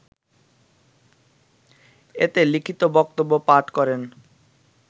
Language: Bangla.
এতে লিখিত বক্তব্য পাঠ করেন